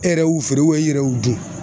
E yɛrɛ y'u feere i yɛrɛ y'u dun